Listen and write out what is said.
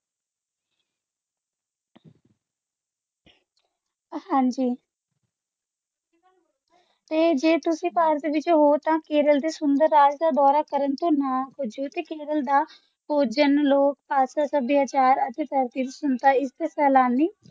ਹਾਂਜੀ ਤੇ ਜੇ ਤੁਸੀਂ ਭਾਰਤ ਵਿਚ ਹੋਰ ਤਾ ਰਲ਼ ਦਾ ਸੁੰਦਰ ਰਾਜ ਦਾ ਦੌਰਾ ਕਰਨ ਤੋਂ ਨਾ ਪੁੱਜੋ ਤਾ ਕੇਰਲ ਦਾ ਭੋਜਨ ਲੋਕ ਭਾਸ਼ਾ ਸਭੈਚਰ ਇੱਕ ਸੈਲਾਨੀ